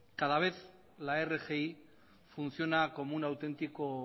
cada vez la rgi funciona como un auténtico